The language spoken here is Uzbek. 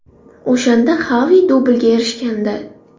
O‘shanda Xavi dublga erishgandi.